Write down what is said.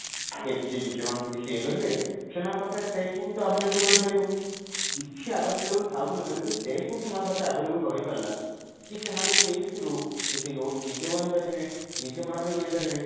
efficient teacher ମାନଙ୍କ ଠୁ କିଛି ଇଏ କରିବେ ସେମାନଙ୍କ ପାଖରେ test book ତ available ରହିପାରିବ କିଛି available ଥାଉ କି ନଥାଉ ଯଦି test book ସେମାନଙ୍କ ପାଖରେ available ରହିପାରିଲା କି ସେମାନେ ସେଇ ଭିତୁରୁ କିଛି notes ନିଜେ ବନେଇପାରିବେ ନିଜେ ପଢା ପାଢୀ କରିପାରିବେ